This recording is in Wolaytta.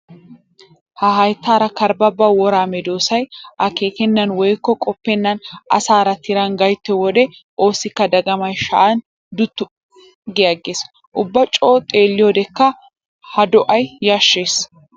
Ha hayttara karbbaba wora meedosay akeekenan woykko qoppenan asaara tiran gayttiyo wode oosikka dagamay shaya duutti agees. Ubba coo xelliyodekka ha do'ay yashees.